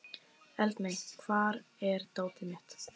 Eldmey, hvar er dótið mitt?